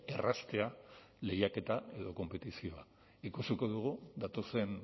erraztea lehiaketa edo konpetizioa ikusiko dugu datozen